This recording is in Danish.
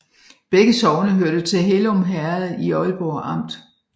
Begge sogne hørte til Hellum Herred i Ålborg Amt